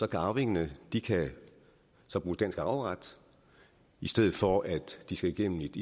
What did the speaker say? kan arvingerne så bruge dansk arveret i stedet for at de skal igennem et